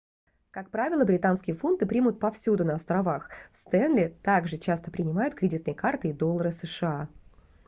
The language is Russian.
как правило британские фунты примут повсюду на островах в стэнли также часто принимают кредитные карты и доллары сша